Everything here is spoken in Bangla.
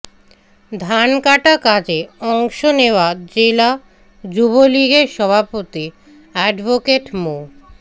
ধানকাটা কাজে অংশ নেওয়া জেলা যুবলীগের সভাপতি অ্যাডভোকেট মো